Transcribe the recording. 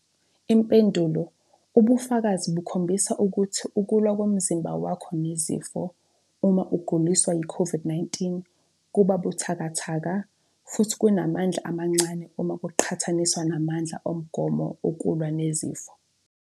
Impendulo- Ubufakazi bukhombisa ukuthi ukulwa komzimba wakho nezifo, uma uguliswa yiCOVID-19, kuba buthakathaka futhi kunamandla amancane uma kuqhathaniswa namandla omgomo okulwa nezifo.